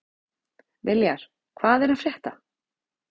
Viljar, hvað er að frétta?